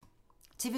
TV 2